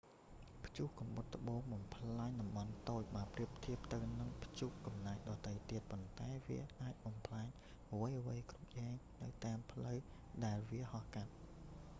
ព្យុះកំបុតត្បូងបំផ្លាញតំបន់តូច បើប្រៀបធៀបទៅនឹងព្យុះកំណាចដទៃទៀត ប៉ុន្តែវាអាចបំផ្លាញអ្វីៗគ្រប់យ៉ាងនៅតាមផ្លូវដែលវាហោះកាត់